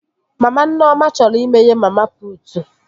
Mama Nneoma chọrọ imeghe mama putu